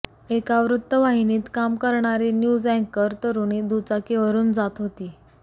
एका वृत्तवाहिनीत काम करणारी न्यूज अँकर तरुणी दुचाकीवरून जात होती